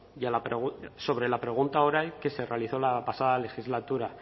sobre la pregunta oral que se realizó la pasada legislatura